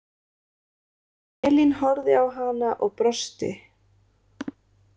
Elín horfði á hana og brosti.